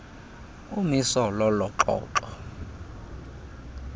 umiso lolo xoxo